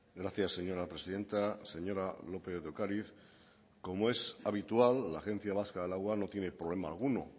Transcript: gracias señora presidenta señora lópez de ocariz como es habitual la agencia vasca del agua no tiene problema alguno